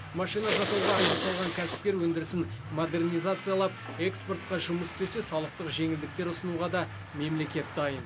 машина жасауға ақша салған кәсіпкер өндірісін модернизациялап экспортқа жұмыс істесе салықтық жеңілдіктер ұсынуға да мемлекет дайын